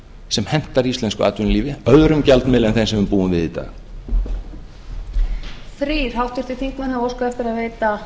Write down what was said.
sem hentar íslensku atvinnulífi öðrum gjaldmiðli en þeim sem við búum við í dag